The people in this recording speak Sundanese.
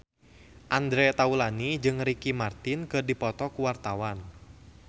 Andre Taulany jeung Ricky Martin keur dipoto ku wartawan